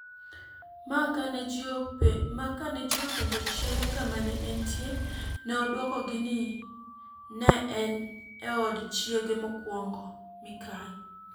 Ma kane ji openjo chiege kama ne entie, ne odwokogi ni ne en e od chiege mokwongo (Mika.